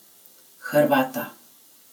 Hrvata.